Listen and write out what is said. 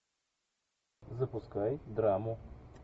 запускай драму